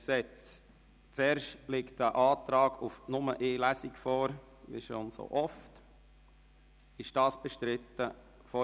Es liegt ein Antrag auf Durchführung von nur einer Lesung vor.